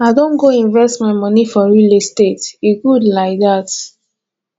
i don go invest my moni for real estate e good lai dat